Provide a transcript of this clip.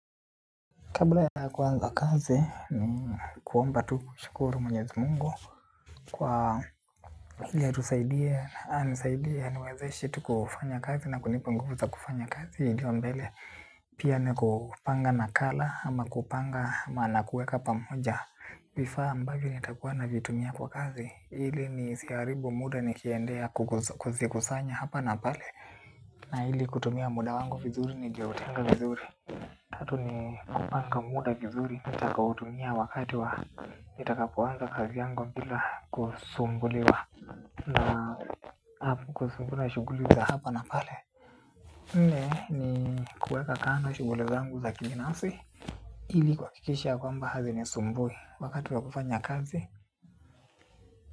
Kabla ya kuanza kazi ni kuomba tu kushukuru mwenyezi mungu. Kwa ili atusaidie, anisaidie, niwezeshe tu kufanya kazi na kunipa nguvu za kufanya kazi. Nikiwa mbele. Pia ni kupanga nakala ama kupanga maana kueka pamoja. Vifaa ambavyo nitakuwa navitumia kwa kazi. Ili nisiharibu muda nikiendea kuzikusanya hapa na pale. Na ili kutumia muda wangu vizuri nilioutenga vizuri. Tatu ni kupanga muda vizuri, nitakaoutumia wakati wa nitakapoanza kazi yangu bila kusumbuliwa na hapo kusumbuliwa shughuli za hapa na pale. Ni kuweka kando shughuli zangu za kibinafsi ili kuhakikisha kwamba hazinisumbui wakati wa kufanya kazi.